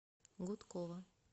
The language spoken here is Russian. гудкова